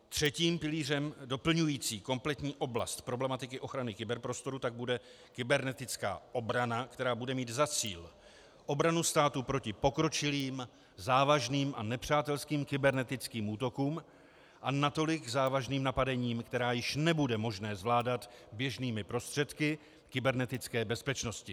Třetím pilířem doplňujícím kompletní oblast problematiky ochrany kyberprostoru pak bude kybernetická obrana, která bude mít za cíl obranu státu proti pokročilým, závažným a nepřátelským kybernetickým útokům a natolik závažným napadením, která již nebude možné zvládat běžnými prostředky kybernetické bezpečnosti.